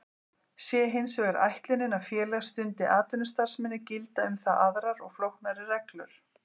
Sé hins vegar ætlunin að félag stundi atvinnustarfsemi gilda um það aðrar og flóknari reglur.